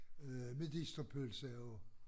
Øh medisterpølse og